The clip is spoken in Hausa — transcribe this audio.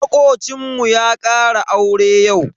Makocinmu ya ƙara aure yau.